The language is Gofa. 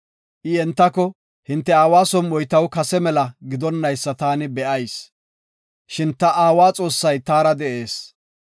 I entako, “Hinte aawa som7oy taw kase mela gidonaysa taani be7ayis. Shin ta aawa Xoossay taara de7ees.